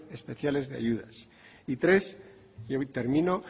especiales de ayuda y tres y ahí termino